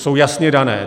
Jsou jasně dané.